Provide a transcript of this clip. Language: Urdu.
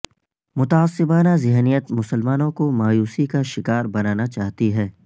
متعصبانہ ذہنیت مسلمانوں کو مایوسی کا شکار بنانا چاہتی ہے